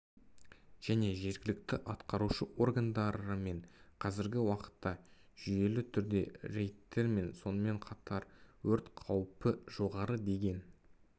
және жергілікті атқарушы органдарымен қазіргі уақытта жүйелі түрде рейдтер сонымен қатар өрт қаупі жоғары деген